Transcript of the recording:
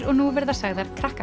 og nú verða sagðar